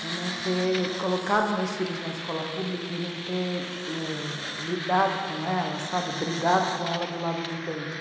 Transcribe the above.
de não ter colocado meus filhos na escola pública e não ter, é... lidado com ela, brigado com ela do lado de dentro.